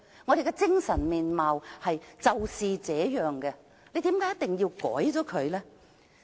我們的精神面貌就是這樣，為何一定要作出改變呢？